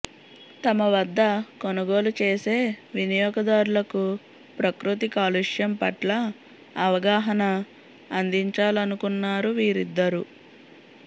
తమ వద్ద కొనుగోలు చేసే వినియోగదారులకు ప్రకృతి కాలుష్యం పట్ల అవగాహన అందించాలనుకున్నారు వీరిద్దరూ